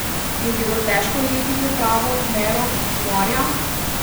Je bilo težko ujeti to pravo mero humorja?